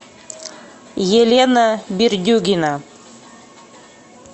елена бердюгина